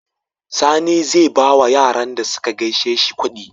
Sani zai bawa Yaran da suka gaishe shi kudi